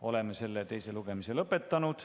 Oleme teise lugemise lõpetanud.